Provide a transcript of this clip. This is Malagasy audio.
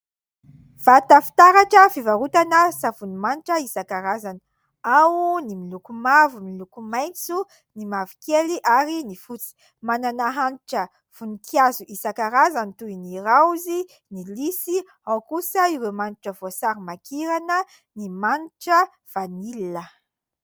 Vata fitaratra fivarotana savony manitra isankarazany : ao ny miloko mavo, miloko maitso, ny mavokely, ary ny fotsy. Manana hanitra voninkazo isankarazany toy ny raozy, ny lisy ; ao kosa ireo manitra voasarimakirana, ny manitra vanila.